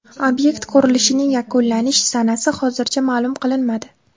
Obyekt qurilishining yakunlanish sanasi hozircha ma’lum qilinmadi.